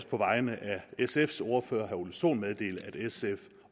på vegne af sfs ordfører herre ole sohn